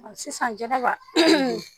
Sisan jɛnɛba